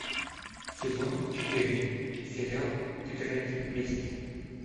сезон четыре сериал тетрадь мести